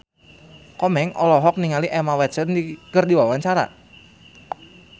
Komeng olohok ningali Emma Watson keur diwawancara